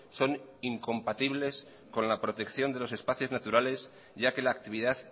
son incompatibles con la protección de los espacios naturales ya que la actividad